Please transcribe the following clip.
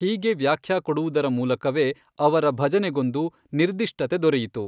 ಹೀಗೆ ವ್ಯಾಖ್ಯಾ ಕೊಡುವುದರ ಮೂಲಕವೇ ಅವರ ಭಜನೆಗೊಂದು ನಿರ್ಧಿಷ್ಟತೆ ದೊರೆಯಿತು.